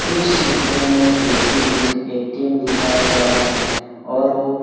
इस चित्र में एक ए_टी_एम दिख ए_टी_एम दिखाया गया है और वो।